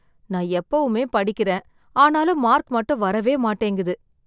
நான் எப்பவுமே படிக்கிறேன், ஆனாலும் மார்க் மட்டும் வரவே மாட்டேங்குது.